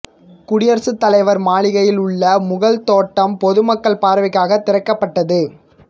குடியரசுத் தலைவர் மாளிகையில் உள்ள முகல் தோட்டம் பொதுமக்கள் பார்வைக்காக திறக்கப்பட்டது